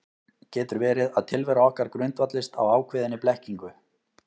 Getur verið að tilvera okkar grundvallist á ákveðinni blekkingu?